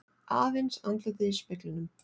Aðeins andlitið í speglinum.